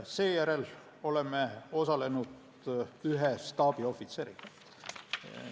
Seejärel oleme osalenud ühe staabiohvitseriga.